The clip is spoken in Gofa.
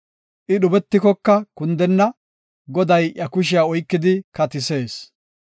I dhubetikoka kundenna; Goday iya kushiya oykidi katisees.